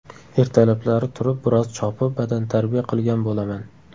Ertalablari turib, biroz chopib, badantarbiya qilgan bo‘laman.